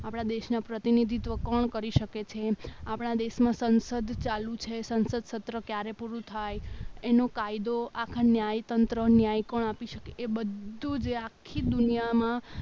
આપણા દેશના પ્રતિનિધિત્વ કોણ કરી શકે છે આપણા દેશમાં સંસદ ચાલુ છે સંસદ સત્ર ક્યારે પૂરું થાય એનો કાયદો આપણું ન્યાયતંત્ર ન્યાય કોણ આપી શકે એ બધું જે આખી દુનિયામાં